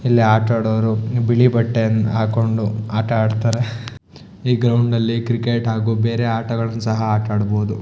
ಇಲ್ಲಿ ಆಟ ಆಡೋವ್ರು ಬಿಳಿ ಬಟ್ಟೆಯನ್ನ ಹಾಕೊಂಡು ಆಟ ಆಡತ್ತರೆ ಈ ಗ್ರೌಂಡ್ ಅಲ್ಲಿ ಕ್ರಿಕೆಟ್ ಹಾಗು ಬೇರೆ ಆಟಗಳನ್ನು ಸಹ ಆಟ ಆಡಬಹುದು.